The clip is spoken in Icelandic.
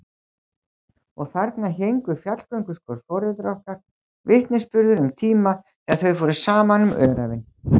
Og þarna héngu fjallgönguskór foreldra okkar, vitnisburður um tíma þegar þau fóru saman um öræfin.